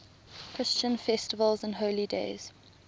christian festivals and holy days